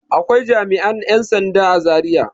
Akwai jami'an 'yan sanda a Zariya.